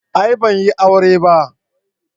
A'a ban yi aure ba.